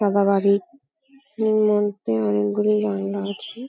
সাদা বাড়ির উম মধ্যে অনেকগুলোই আয়না আছে ।